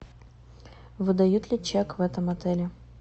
выдают ли чек в этом отеле